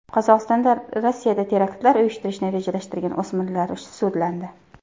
Qozog‘istonda Rossiyada teraktlar uyushtirishni rejalashtirgan o‘smirlar sudlandi.